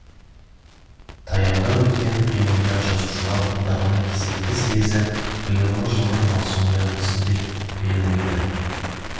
таяуда өткен пленумда жазушылар одағының кезекті съезі биылғы жылдың маусымында өтсін деп белгіленді